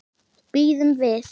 Bíðum við.